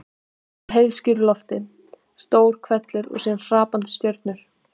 Úr heiðskíru lofti: stór hvellur og síðan hrapandi stjörnur.